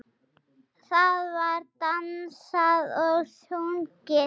Það var dansað og sungið.